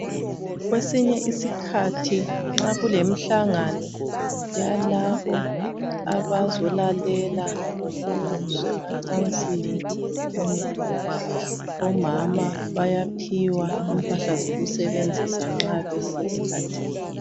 Kwesinye isikhathi nxa kulemihlangano, yalabo abazolalela ngokwezemacansini, lokunye. Omama bayaphiwa impahla, zokusebenzisa nxa besesikhathini.